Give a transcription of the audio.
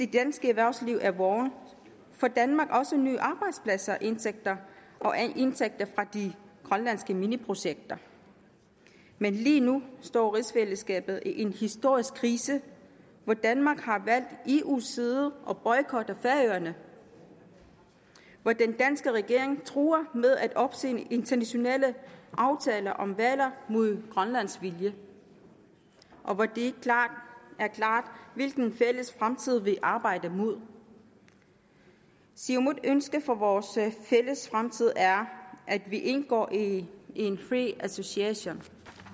danske erhvervsliv er vågent får danmark også nye arbejdspladser og indtægter fra de grønlandske mineprojekter men lige nu står rigsfællesskabet i en historisk krise hvor danmark har valgt eus side og boykotter færøerne hvor den danske regering truer med at opsige internationale aftaler om hvaler mod grønlands vilje og hvor det ikke er klart hvilken fælles fremtid vi arbejder henimod siumuts ønske for vores fælles fremtid er at vi indgår i en free association